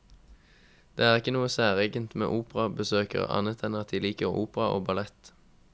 Det er ikke noe særegent med operabesøkere, annet enn at de liker opera og ballett.